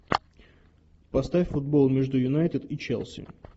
поставь футбол между юнайтед и челси